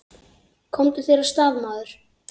Komdu þér af stað, maður!